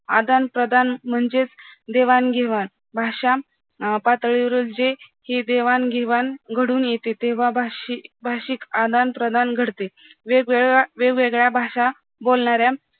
आदान प्रदान म्हणजेच देवाणघेवाण भाषा अं पातळीवरची हे जी देवाणघेवाण घडून येते तेव्हा तेव्हा भाषी भाषिक आदान-प्रदान घडते वेगवेगळ्या वेगवेगळ्या भाषा बोलणाऱ्या